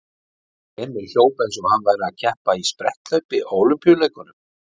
Emil hljóp eins og hann væri að keppa í spretthlaupi á Ólympíuleikunum.